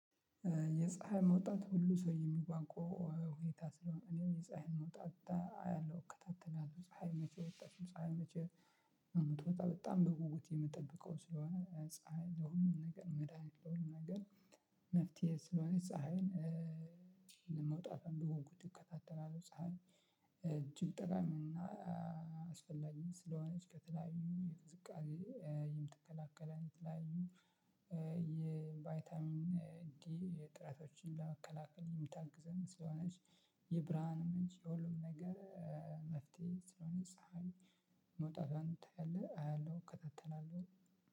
የፀሀይ መውጣት ሁሉ ሰው የሚጓጓው ሁኔታ ስለሆነ እኔም የፀሀይን መውጣት አያለሁ እከታተላለሁ። ፀሀይ መቼ ወጣች ፀሀይ መቼ የምትወጣ በጣም በጉጉት የምትጠብቀው ስለሆነ ፀሀይ ለሁሉም ነገር መድሃኒት ለሁሉም ነገር መፍትሄ ስለሆነች ፀሀይን መውጣቷን በጉጉት እከታተላለሁ። ፀሀይ እጅግ ጠቃሚና አስፈላጊም ስለሆነች ከተለያዩ የቅዝቃዜ የምትከላከለን የተለያዩ የቫይታሚን ዲ እጥረቶችን ለመከላከል የምታግዘን ስለሆነች የብርሃን ምንጭ የሁሉም ነገር መፍትሄ ስለሆነች መውጣቷን አያለሁ እከታተላለሁ።